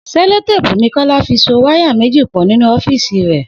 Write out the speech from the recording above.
Selotéèpù ni Kó̩lá fi so wáyà méjì pò̩ nínú ó̩fíìsì rè̩